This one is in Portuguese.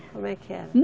Como é que era?